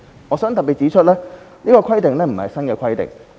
我想指出，這項規定不是新的規定。